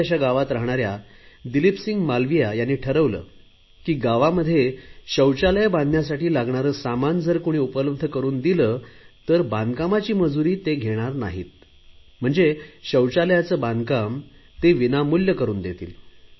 छोटयाश्या गावात राहणाऱ्या दिलीप सिंह मालविया यांनी ठरवले की गावात शौचालय बांधण्यासाठी लागणारे सामान जर कुणी उपलब्ध करुन दिले तर बांधकामाची मजुरी ते घेणार नाहीत शौचालयाचे बांधकाम ते विनामूल्य करुन देतील